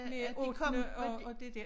Ottende og og det der